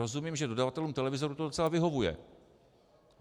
Rozumím, že dodavatelům televizorů to docela vyhovuje.